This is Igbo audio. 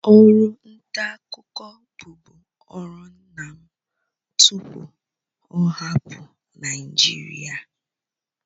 Ọrụ nta akụkọ bụ bu ọrụ nna m tupu ọ hapụ Naịjirịa